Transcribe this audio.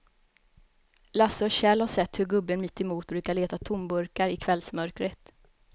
Lasse och Kjell har sett hur gubben mittemot brukar leta tomburkar i kvällsmörkret.